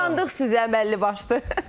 Burda qısqandıq sizə əməlli başlı.